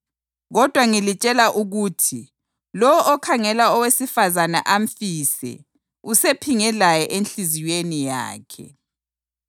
Kodwa ngilitshela ukuthi lowo okhangela owesifazane amfise usephinge laye enhliziyweni yakhe.